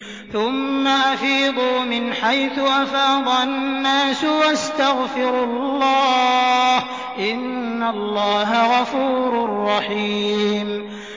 ثُمَّ أَفِيضُوا مِنْ حَيْثُ أَفَاضَ النَّاسُ وَاسْتَغْفِرُوا اللَّهَ ۚ إِنَّ اللَّهَ غَفُورٌ رَّحِيمٌ